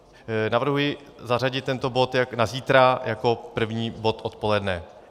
Navrhuji zařadit tento bod na zítra jako první bod odpoledne.